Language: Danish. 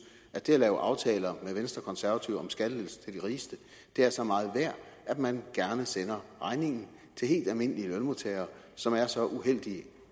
at det at lave aftaler med venstre og konservative om skattelettelser til de rigeste er så meget værd at man gerne sender regningen til helt almindelige lønmodtagere som er så uheldige